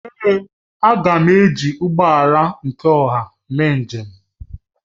Èé, m ga-eji ụgbọ ọha eme njem